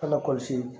An bɛ kɔlɔsi